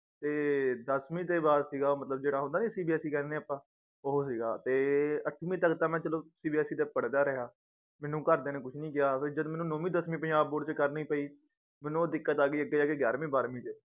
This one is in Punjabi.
ਤੇ ਦੱਸਵੀਂ ਤੇ ਬਾਅਦ ਸੀਗਾ ਉਹ ਮਤਲਬ ਜਿਹੜਾ ਹੁੰਦਾ ਨੀ CBSE ਕਹਿੰਨੇ ਆਪਾਂ ਉਹ ਸੀਗਾ ਤੇ ਅੱਠਵੀਂ ਤਕ ਤਾਂ ਮੈ ਚਲੋ CBSE ਚ ਪੜ੍ਹਦਾ ਰਿਹਾ ਮੈਨੂੰ ਘਰਦਿਆਂ ਨੇ ਕੁਜ ਨੀ ਕਿਹਾ ਓਦੋਂ ਇੱਜਤ ਮੈਨੂੰ ਨੌਵੀਂ ਦੱਸਵੀਂ ਪੰਜਾਬ board ਤੋਂ ਕਰਨੀ ਪਈ ਮੈਨੂੰ ਉਹ ਦਿੱਕਤ ਆਗੀ ਅੱਗੇ ਜਾ ਕੇ ਗਿਆਰਵੀਂ ਬਾਰ੍ਹਵੀਂ ਚ